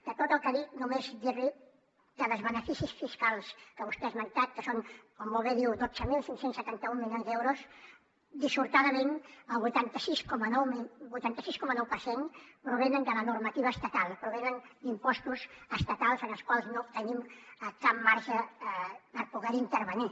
de tot el que ha dit només dir li que dels beneficis fiscals que vostè ha esmentat que són com molt bé diu dotze mil cinc cents i setanta un milions d’euros dissortadament el vuitanta sis coma nou per cent provenen de la normativa estatal provenen d’impostos estatals en els quals no tenim cap marge per poder hi intervenir